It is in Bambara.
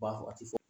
Ba wagati fɔ